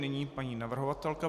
Nyní paní navrhovatelka.